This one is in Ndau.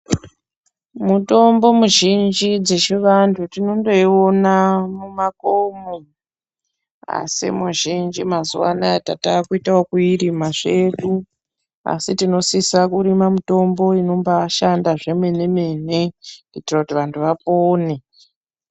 Mutombo mizhinji dzechivanthu tinondoiona mumakomo asi muzhinji mazuwaanaya tatakutoita yekuirima zvedu asi tinosisa kurima mitombo inombaishanda zvemene mene kuitira kuti vanthu vapone.